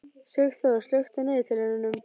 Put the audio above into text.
Sigþór, slökktu á niðurteljaranum.